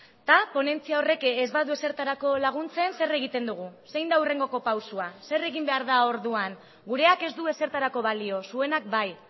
eta ponentzia horrek ez badu ezertarako laguntzen zer egiten dugu zein da hurrengoko pausua zer egin behar da orduan gureak ez du ezertarako balio zuenak bai